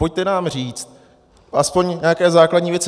Pojďte nám říct alespoň nějaké základní věci.